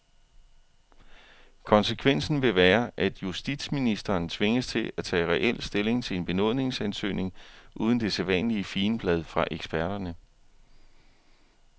Konsekvensen vil være, at justitsministeren tvinges til at tage reel stilling til en benådningsansøgning uden det sædvanlige figenblad fra eksperterne.